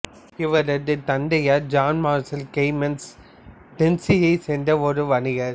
இவரது தந்தையார் John Marshall Clemens டென்னசியைச் சேர்ந்த ஒரு வணிகர்